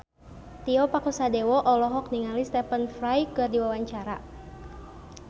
Tio Pakusadewo olohok ningali Stephen Fry keur diwawancara